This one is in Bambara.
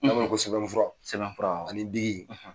N'a bɛ fɔ ko sɛbɛnfura ani biki.